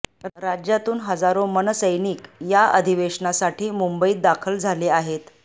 राज्यातून हजाराे मनसैनिक या अधिवेशनासाठी मुंबईत दाखल झाले आहेत